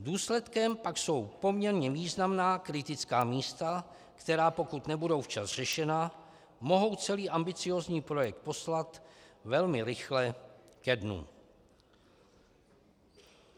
Důsledkem pak jsou poměrně významná kritická místa, která pokud nebudou včas řešena, mohou celý ambiciózní projekt poslat velmi rychle ke dnu.